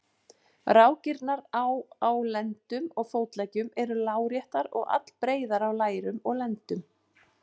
Rákirnar á á lendum og fótleggjum eru láréttar og allbreiðar á lærum og lendum.